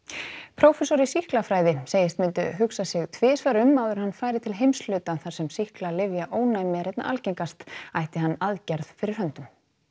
prófessor í sýklafræði segist myndu hugsa sig tvisvar um áður en hann færi til heimshluta þar sem sýklalyfjaónæmi er einna algengast ætti hann aðgerð fyrir höndum